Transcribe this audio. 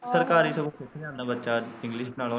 ਸਰਕਾਰੀ ਸਗੋਂ ਸਿੱਖ ਜਾਂਦਾ ਬੱਚਾ english ਨਾਲੋ ਨਾ।